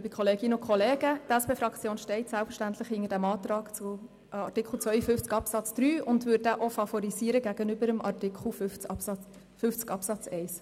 Die SP-JUSO-PSA-Fraktion steht selbstverständlich hinter dem Antrag zu Artikel 52 Absatz 3 und würde diesen auch gegenüber dem Antrag zu Artikel 50 Absatz 1 favorisieren.